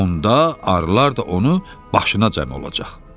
Onda arılar da onu başına cəmləşəcək.